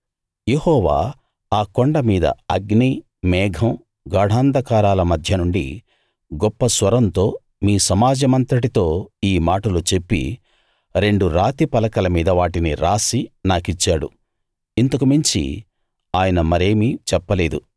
యెహోవా ఆ కొండ మీద అగ్ని మేఘం గాఢాంధకారాల మధ్య నుండి గొప్ప స్వరంతో మీ సమాజమంతటితో ఈ మాటలు చెప్పి రెండు రాతి పలకల మీద వాటిని రాసి నాకిచ్చాడు ఇంతకు మించి ఆయన మరేమీ చెప్పలేదు